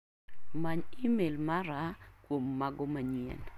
Many imel mara kuom mago manyien.